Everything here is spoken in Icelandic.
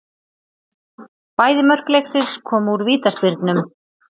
Bæði mörk leiksins komu úr vítaspyrnum